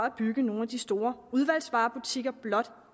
at bygge nogle af de store udvalgsvarebutikker blot